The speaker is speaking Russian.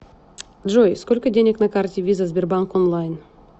джой сколько денег на карте виза сбербанк онлайн